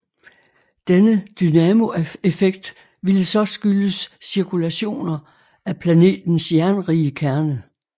Denne dynamoeffekt ville så skyldes cirkulationer af planetens jernrige kerne